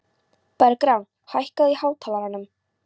Bergrán, hækkaðu í hátalaranum.